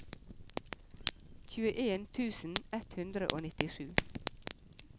tjueen tusen ett hundre og nittisju